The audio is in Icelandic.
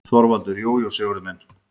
ÞORVALDUR: Jú, jú, Sigurður minn.